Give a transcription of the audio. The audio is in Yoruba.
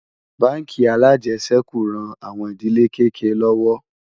bánkì alàjesèkú ràn àwọn ìdílé kéké lówó